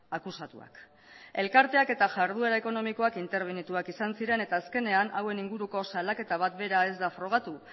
akusatuak elkarteak eta jarduera ekonomikoak interbenituak izan ziren eta azkenean hauen inguruko salaketa bat bera ez da frogatu